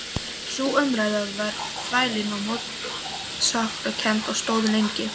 Sú umræða varð þvælin og mótsagnakennd og stóð lengi.